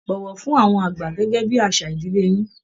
Bọ̀wọ̀ fún àwọn àgbà gẹ́gẹ́ bí àṣà ìdílé yín